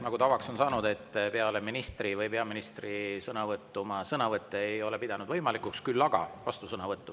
Nagu tavaks on saanud, peale ministri või peaministri sõnavõttu ma sõnavõtte ei ole pidanud võimalikuks, küll aga vastusõnavõttu.